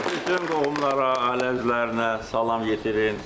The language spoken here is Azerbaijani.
Bütün qohumlara, ailə üzvlərinə salam yetirin.